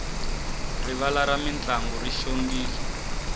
rivala ra mintlangu ri xongile